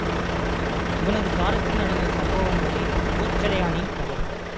இவனது காலத்தில் நடந்த சம்பவங்களே கோச்சடையானின் கதை